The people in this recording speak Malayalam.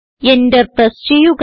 എന്റർ പ്രസ് ചെയ്യുക